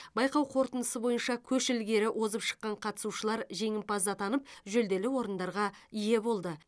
байқау қорытындысы бойынша көш ілгері озып шыққан қатысушылар жеңімпаз атанып жүлделі орындарға ие болды